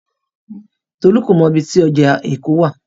Tolú kò mọ ibi tí ọjà Èkó wà.